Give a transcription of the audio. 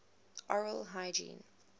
oral hygiene